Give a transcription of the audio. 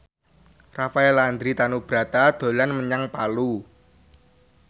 Rafael Landry Tanubrata dolan menyang Palu